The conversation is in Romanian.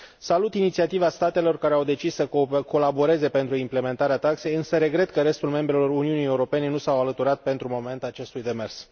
Salut inițiativa statelor care au decis să colaboreze pentru implementarea taxei, însă regret că restul membrelor Uniunii Europene nu s au alăturat, pentru moment, acestui demers.